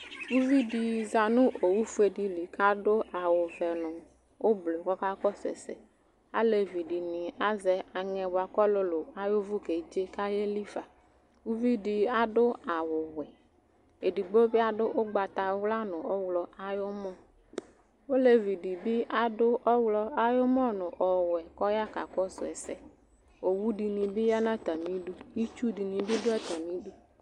Uvidɩ za nʋ owufuedɩ li k'adʋ awʋ ɔvɛ nʋ ʋblʋ k'ɔka kɔsʋ ɛsɛ ; alevidɩnɩ azɛ aŋɛ k'ɔlʋlʋ ay'ʋvʋ k'edze k'ayelifa Uvidɩ adʋ awʋwɛ, edihbo bɩ adʋ ʋgbatawla nʋ ɔɣlɔ ay'ʋmɔ ; olevidɩ bɩ adʋ ɔɣlɔ ay'ʋmɔ nʋ ɔwɛ k'ɔya kakɔsʋ ɛsɛ Owudɩnɩ bɩ ya n'atamidu , itsudɩnɩ bɩ dʋ atamidu